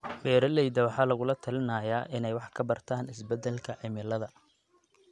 Beeralayda waxaa lagula talinayaa inay wax ka bartaan isbeddelka cimilada.